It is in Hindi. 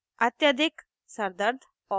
अत्यधिक सरदर्द और